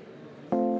kümme minutit.